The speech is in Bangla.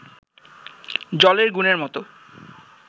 জলের গুণের মতো